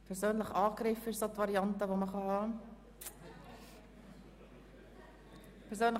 Persönlich angegriffen wäre eine Variante, um nochmals ans Mikrofon zu kommen.